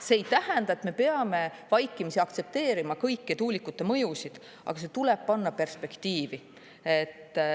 See ei tähenda, et me peame vaikimisi aktsepteerima kõiki tuulikute mõjusid, aga see tuleb panna perspektiivi.